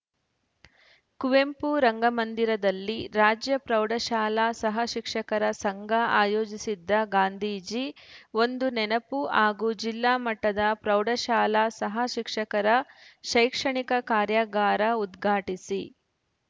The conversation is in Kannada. ಕುವೆಂಪು ರಂಗಮಂದಿರದಲ್ಲಿ ರಾಜ್ಯ ಪ್ರೌಢಶಾಲಾ ಸಹ ಶಿಕ್ಷಕರ ಸಂಘ ಆಯೋಜಿಸಿದ್ದ ಗಾಂಧೀಜಿ ಒಂದು ನೆನಪು ಹಾಗೂ ಜಿಲ್ಲಾಮಟ್ಟದ ಪ್ರೌಢಶಾಲಾ ಸಹ ಶಿಕ್ಷಕರ ಶೈಕ್ಷಣಿಕ ಕಾರ್ಯಾಗಾರ ಉದ್ಘಾಟಿಸಿ